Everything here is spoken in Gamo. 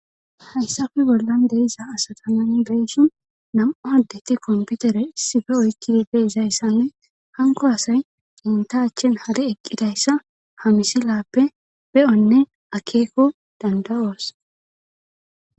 Hayyssafe bollan deiza asatamani beeshi nam7u addetti komputere issife oykkidide izayssanne hanko asay unta achchin hare eqqidayssa hamisi lappe be7onne akeekko danda7oos.